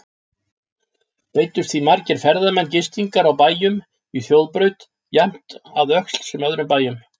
Beiddust því margir ferðamenn gistingar á bæjum í þjóðbraut, jafnt að Öxl sem öðrum bæjum.